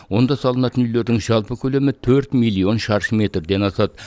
онда салынатын үйлердің жалпы көлемі төрт миллион шаршы метрден асады